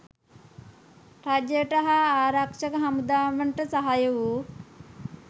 රජයට හා ආරක්ෂක හමුදාවන්ට සහාය වූ